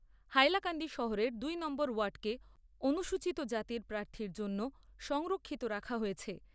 হাইলাকান্দি শহরের দু নম্বর ওয়ার্ডকে অনুসূচিত জাতির প্রার্থীর জন্য সংরক্ষিত রাখা হয়েছে।